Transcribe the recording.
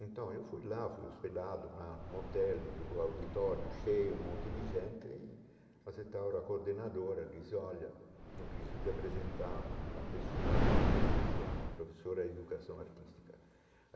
Então, eu fui lá, fui hospedado na no hotel, no auditório, cheio, um monte de gente, e a coordenadora, disse, olha, eu preciso te apresentar uma pessoa muito especial, uma professora de educação artística.